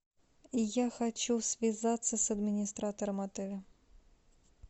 я хочу связаться с администратором отеля